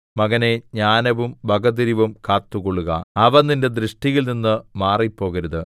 മകനേ ജ്ഞാനവും വകതിരിവും കാത്തുകൊള്ളുക അവ നിന്റെ ദൃഷ്ടിയിൽനിന്ന് മാറിപ്പോകരുത്